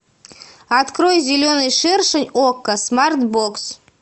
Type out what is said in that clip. открой зеленый шершень окко смарт бокс